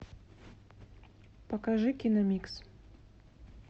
покажи киномикс